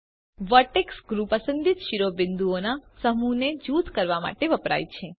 vertex groups પસંદિત શિરોબિંદુઓના સમૂહને જૂથ કરવા માટે વપરાય છે